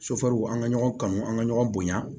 an ka ɲɔgɔn kanu an ŋa ɲɔgɔn bonya